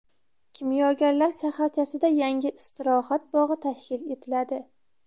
Kimyogarlar shaharchasida yangi istirohat bog‘i tashkil etiladi.